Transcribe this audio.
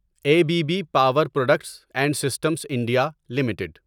a B B power products and systems India limited